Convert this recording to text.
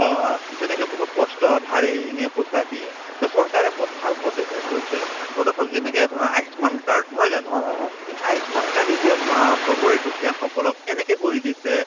বা তেনেকে বহুত কষ্ট ধাৰে ঋণে পইচা দিয়ে to চৰকাৰে পদ ভাল পদক্ষেপ লৈছে পদক্ষেপ যেনেকে ধৰা আয়ুসমান card নহয় জানো to আয়ুসমান card এতিয়া চোৱা চবৰে দুখীয়াসকলক এনেকে কৰি দিছে